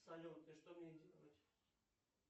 салют и что мне делать